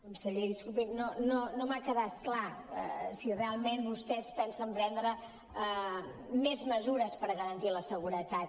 conseller disculpi no m’ha quedat clar si realment vostès pensen prendre més mesures per garantir la seguretat